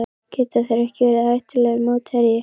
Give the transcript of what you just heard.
Geta þeir ekki verið hættulegur mótherji?